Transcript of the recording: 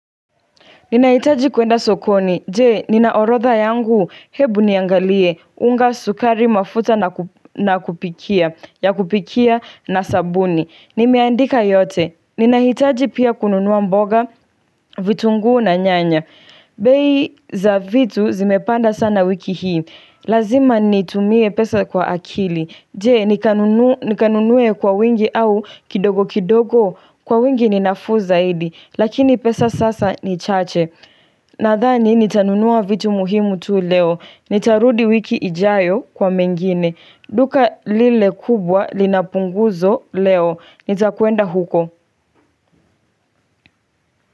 Ninahitaji kuenda sokoni, je, ninaorodha yangu, hebu niangalie, unga sukari mafuta na kupikia, ya kupikia na sabuni. Nimeandika yote, ninahitaji pia kununua mboga, vitunguu na nyanya. Bei za vitu zimepanda sana wiki hii, lazima nitumie pesa kwa akili. Jee, nikanunue kwa wingi au kidogo kidogo, kwa wingi ninafuu zaidi, lakini pesa sasa ni chache. Nathani nitanunua vitu muhimu tu leo. Nitarudi wiki ijayo kwa mengine. Duka lile kubwa linapunguzo leo. Nitakuenda huko.